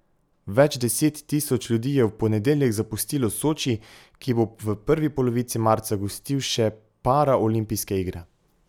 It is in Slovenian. Več deset tisoč ljudi je v ponedeljek zapustilo Soči, ki bo v prvi polovici marca gostil še paraolimpijske igre.